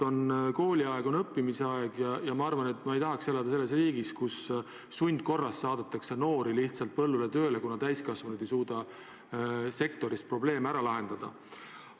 Kooliaeg on õppimise aeg ja ma ei tahaks elada riigis, kus sundkorras saadetakse noori lihtsalt põllule tööle, kuna täiskasvanud ei suuda sektoris probleeme ära lahendada.